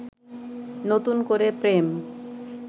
নতুন করে প্রেম